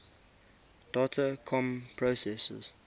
data comm processors